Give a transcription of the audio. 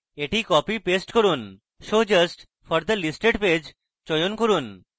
এটি copy paste করুন show just for the listed page চয়ন করুন